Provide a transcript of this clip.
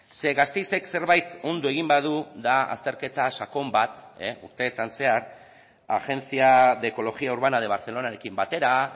ze gasteizek zerbait ondo egin badu da azterketa sakon bat urteetan zehar agencia de ecología urbana de barcelonarekin batera